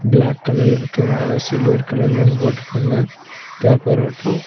Black கலர்ல்ட்ருக்கு மேல silver கலர்ல ஒன்னு போட்ருக்காங்க பேப்பராட்டோ .